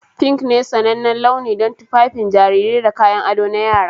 Pink ne sanannen launi don tufafin jarirai da kayan ado na yara.